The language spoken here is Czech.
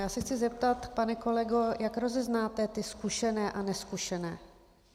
Já se chci zeptat, pane kolego, jak rozeznáte ty zkušené a nezkušené.